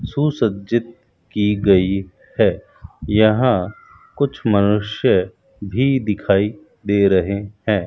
सुसज्जित की गई है यहां कुछ मनुष्य भी दिखाई दे रहे हैं।